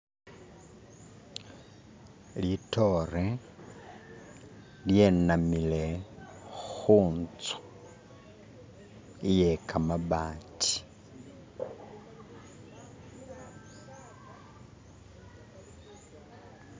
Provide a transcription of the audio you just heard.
litore lyenamile huntsu iye kamabati